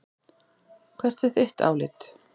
Hvert er þitt álit?